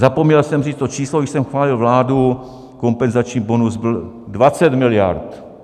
Zapomněl jsem říct to číslo, když jsem chválil vládu, kompenzační bonus byl 20 miliard.